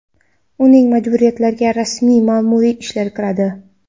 Uning majburiyatlariga rasmiy ma’muriy ishlar kiradi.